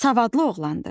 Savadlı oğlandır.